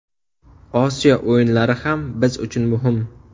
Osiyo o‘yinlari ham biz uchun muhim.